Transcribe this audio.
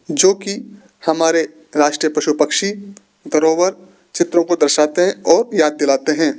जोकि हमारे राष्ट्रीय पशु पक्षी धरोवर चित्रों को दर्शाते हैं और याद दिलाते हैं।